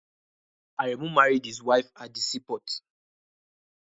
Aremu married his wife at the seaport